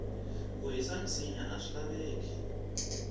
ku hisa minsinya aswi laveki